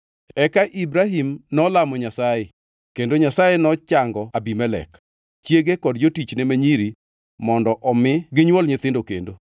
Eka Ibrahim nolamo Nyasaye, kendo Nyasaye nochango Abimelek, chiege kod jotichne ma nyiri mondo omi ginywol nyithindo kendo,